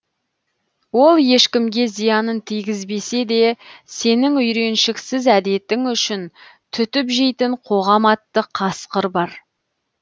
ол ешкімге зиянын тигізбесе де сенің үйреншіксіз әдетің үшін түтіп жейтін қоғам атты қасқыр бар